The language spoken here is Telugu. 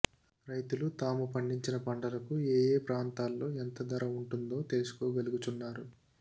రైతులు తాము పండించిన పంటలకు ఏఏ ప్రాంతాలలో ఎంత ధర ఉంటుందో తెలుసుకోగలుగుచున్నారు